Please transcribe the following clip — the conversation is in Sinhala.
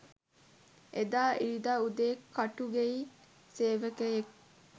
එදා ඉරිදා උදේ කටුගෙයි සේවකයෙක්